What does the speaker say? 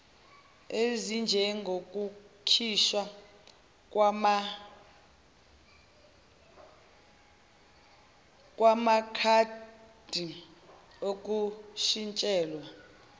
ezinjengokukhishwa kwamakhadi okushintshelwa